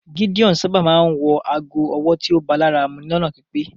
Gídeon sábà máa ńwọ àágó ọ̀wọ́ tíó bá làra mú lọ́nà pípé